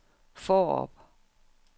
Fårup